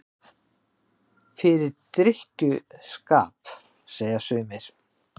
Fyrir drykkju- skap, segja sumir.